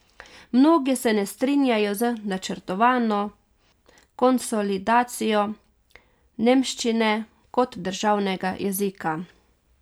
Mnogi se ne strinjajo z načrtovano konsolidacijo nemščine kot državnega jezika.